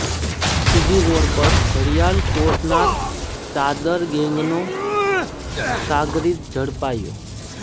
C G road પર ઘડિયાળ ચોરનાર ચાદર ગેંગનો સાગરીત ઝડપાયો